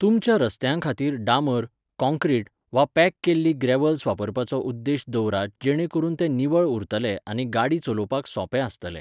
तुमच्या रस्त्यां खातीर डांबर, काँक्रीट, वा पॅक केल्ली ग्रेव्हल वापरपाचो उद्देश दवरात जेणे करून ते निवळ उरतले आनी गाडी चलोवपाक सोंपे आसतले.